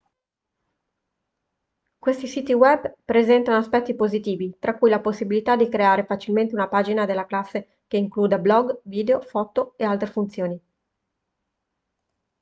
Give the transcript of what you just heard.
questi siti web presentano aspetti positivi tra cui la possibilità di creare facilmente una pagina della classe che includa blog video foto e altre funzioni